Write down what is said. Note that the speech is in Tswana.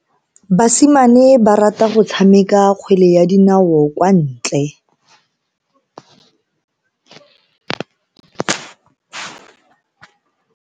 Basimane ba rata go tshameka kgwele ya dinao kwa ntle.